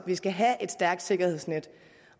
skal have et stærkt sikkerhedsnet